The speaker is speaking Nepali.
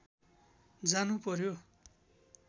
जानु पर्‍यो